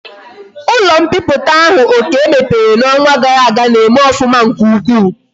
Ulo mpiputa ahu okey mepere na onwa gara aga na eme ofuma nke ukwu